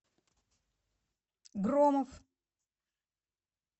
громов